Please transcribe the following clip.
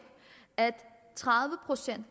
at tredive procent